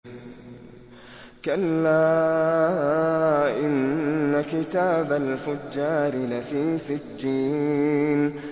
كَلَّا إِنَّ كِتَابَ الْفُجَّارِ لَفِي سِجِّينٍ